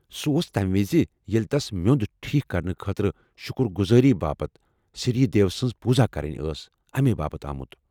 سُہ اوس تمہِ وِزِ ییٚلہ تَس مِیو٘ند ٹھیک کرنہٕ خٲطرٕ شکر گزٲری باپت سِری دیو سٕنٛز پوٗزا کرٕنۍ ٲس اَمے باپت آمُت ۔